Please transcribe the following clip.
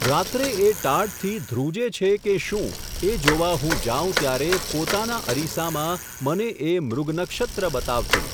રાત્રે એ ટાઢથી ધ્રૂજે છે કે શું, એ જોવા હું જાઉં ત્યારે પોતાના અરીસામાં મને એ મૃગનક્ષત્ર બતાવતી.